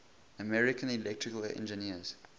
american electrical engineers